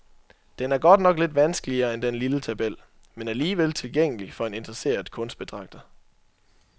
Den er godt nok lidt vanskeligere end den lille tabel, men alligevel tilgængelig for en interesseret kunstbetragter.